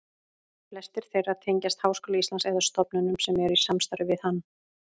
Flestir þeirra tengjast Háskóla Íslands eða stofnunum sem eru í samstarfi við hann.